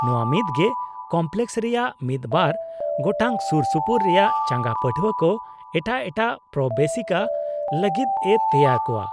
-ᱱᱚᱶᱟ ᱢᱤᱫᱜᱮ ᱠᱚᱢᱯᱞᱮᱠᱚᱥ ᱨᱮᱭᱟᱜ ᱢᱤᱫ ᱵᱟᱨ ᱜᱚᱴᱟᱝ ᱥᱩᱨᱼᱥᱩᱯᱩᱨ ᱨᱮᱭᱟᱜ ᱪᱟᱸᱜᱟ ᱯᱟᱹᱴᱷᱣᱟᱹ ᱠᱚ ᱮᱴᱟᱜ ᱮᱴᱟᱜ ᱯᱨᱚᱵᱮᱥᱤᱠᱟ ᱞᱟᱹᱜᱤᱫ ᱮ ᱛᱮᱣᱟᱨ ᱠᱚᱶᱟ ᱾